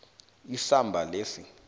isamba lesi